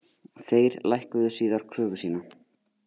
Þeir lækkuðu síðar kröfu sína